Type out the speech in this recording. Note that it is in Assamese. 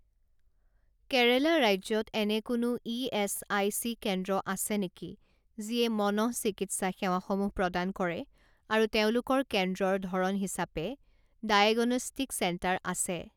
কেৰেলা ৰাজ্যত এনে কোনো ইএচআইচি কেন্দ্ৰ আছে নেকি যিয়ে মনঃচিকিৎসা সেৱাসমূহ প্ৰদান কৰে আৰু তেওঁলোকৰ কেন্দ্ৰৰ ধৰণ হিচাপে ডায়েগনষ্টিক চেণ্টাৰ আছে?